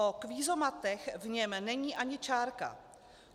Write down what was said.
O kvízomatech v něm není ani čárka.